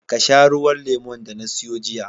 Ka sha ruwan lemon da na siyo jiya